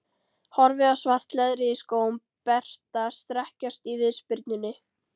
Horfi á svart leðrið í skóm Berta strekkjast í viðspyrnunni.